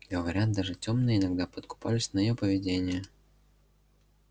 говорят даже тёмные иногда подкупались на её поведение